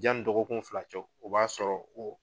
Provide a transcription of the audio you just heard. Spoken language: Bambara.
Yanni dɔgɔkun fila cɛ o b'a sɔrɔ o